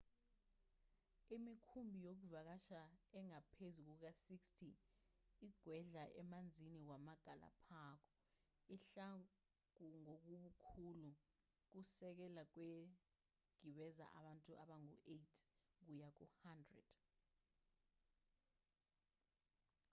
imikhumbi yokuvakasha engaphezu kuka-60 igwedla emanzini wamagalapago ihluka ngobukhulu kusukela kwegibeza abantu abangu-8 kuya ku-100